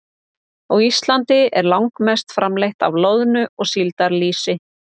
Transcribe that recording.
Á Íslandi er langmest framleitt af loðnu- og síldarlýsi.